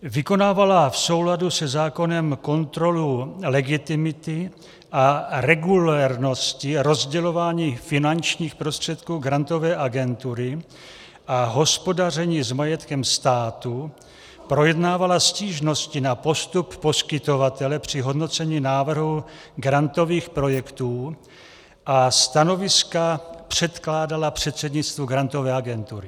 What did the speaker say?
Vykonávala v souladu se zákonem kontrolu legitimity a regulérnosti rozdělování finančních prostředků Grantové agentury a hospodaření s majetkem státu, projednávala stížnosti na postup poskytovatele při hodnocení návrhu grantových projektů a stanoviska předkládala předsednictvu Grantové agentury.